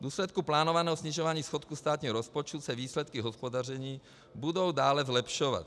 V důsledku plánovaného snižování schodku státního rozpočtu se výsledky hospodaření budou dále zlepšovat.